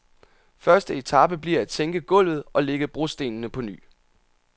Første etape bliver at sænke gulvet og lægge brostenene på ny.